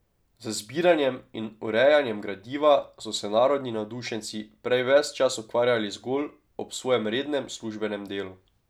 Z zbiranjem in urejanjem gradiva so se narodni navdušenci prej ves čas ukvarjali zgolj ob svojem rednem službenem delu.